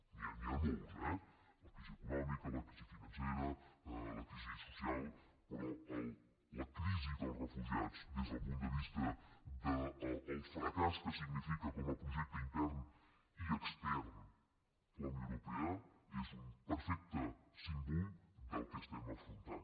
n’hi han molts eh la crisi econòmica la crisi financera la crisi social però la crisi dels refugiats des del punt de vista del fracàs que significa com a projecte intern i extern la unió europea és un perfecte símbol del que estem afrontant